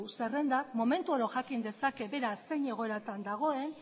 zerrendak momentu oro jakin dezake beraz zein egoeratan dagoen